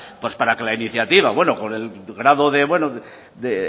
pues para que la iniciativa por el grado de